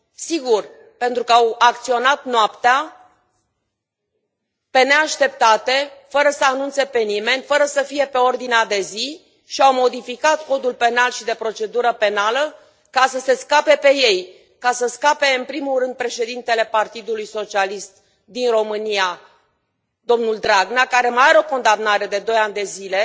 Sigur, pentru că au acționat noaptea, pe neașteptate, fără să anunțe pe nimeni, fără să fie pe ordinea de zi și au modificat Codul penal și de procedură penală ca să se scape pe ei, ca să scape, în primul rând, președintele Partidului Socialist din România, domnul Dragnea, care mai are o condamnare de doi ani de zile